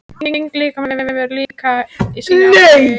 Þyngd líkamans hefur líka sín áhrif.